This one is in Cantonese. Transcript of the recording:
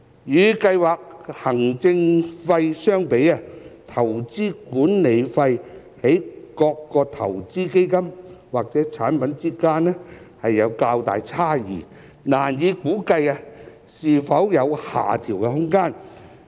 與計劃行政費相比，投資管理費在各個投資基金或產品之間有較大差異，難以估計是否有下調空間。